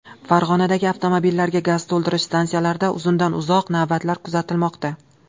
Farg‘onadagi avtomobillarga gaz to‘ldirish stansiyalarida uzundan-uzoq navbatlar kuzatilmoqda.